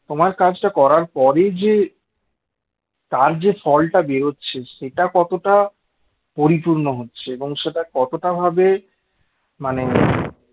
তোমার কাজটা করার পরে যে তার যে ফলটা বেরোচ্ছে সেটা কতটা পরিপূর্ণ হচ্ছে এবং সেটা কতটা ভাবে মানে